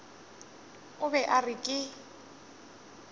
o be a re ke